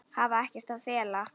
Hafa ekkert að fela.